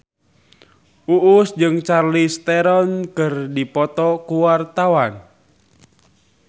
Uus jeung Charlize Theron keur dipoto ku wartawan